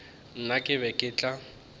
nna ke be ke tla